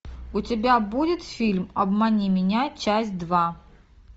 у тебя будет фильм обмани меня часть два